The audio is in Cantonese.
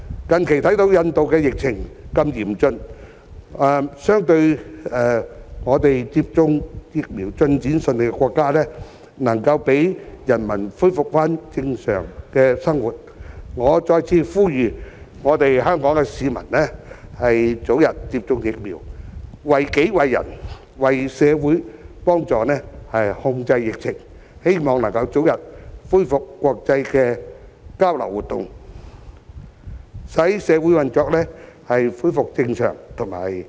近期看到印度的疫情如此嚴峻，相對接種疫苗進展順利的國家，能夠讓人民恢復正常的生活，我再次呼籲香港市民早日接種疫苗，為己為人為社會，幫助控制疫情，希望早日恢復國際交流活動，使社會運作恢復正常，以及讓經濟有所發展。